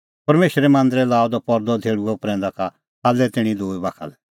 परमेशरे मांदरै लाअ द परदअ धेल़्हुअ प्रैंदा का थाल्लै तैणीं दूई बाखा लै